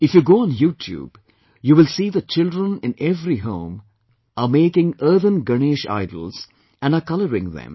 If you go on YouTube, you will see that children in every home are making earthen Ganesh idols and are colouring them